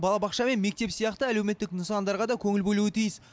балабақша мен мектеп сияқты әлеуметтік нысандарға да көңіл бөлуі тиіс